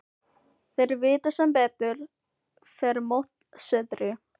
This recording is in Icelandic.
Þeir vita sem betur fer mót suðri.